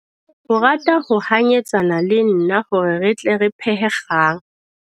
O rata ho hanyetsana le nna hore re tle re phehe kgang.